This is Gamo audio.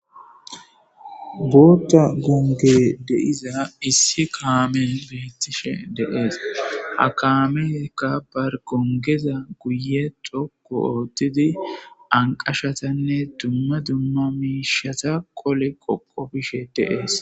bootta gonge de'iza issi kaamen beettishe de'ees ha kaameka bargongeza guye xokko oothtidi anqashatanne dumma dumma miishata qole qoqobishe dee'es